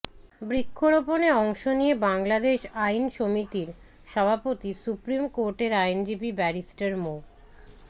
বৃক্ষরোপণে অংশ নিয়ে বাংলাদেশ আইন সমিতির সভাপতি সুপ্রিম কোর্টের আইনজীবী ব্যারিস্টার মো